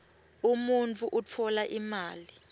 umuntfu utfola imali